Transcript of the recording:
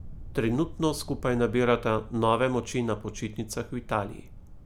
Trenutno skupaj nabirata nove moči na počitnicah v Italiji.